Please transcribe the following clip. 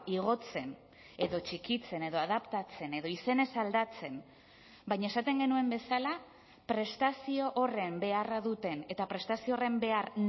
igotzen edo txikitzen edo adaptatzen edo izenez aldatzen baina esaten genuen bezala prestazio horren beharra duten eta prestazio horren behar